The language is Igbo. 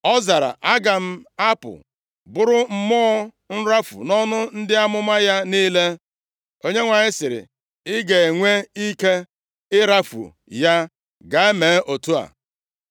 “Ọ zara, ‘Aga m apụ bụrụ mmụọ nrafu nʼọnụ ndị amụma ya niile.’ “ Onyenwe anyị sịrị, ‘Ị ga-enwe ike ịrafu ya. Gaa mee otu a.’